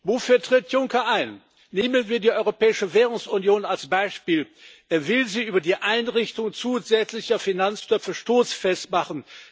Wofür tritt Juncker ein? Nehmen wir die Europäische Währungsunion als Beispiel Er will sie über die Einrichtung zusätzlicher Finanztöpfe stoßfest machen.